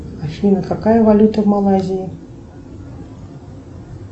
афина какая валюта в малайзии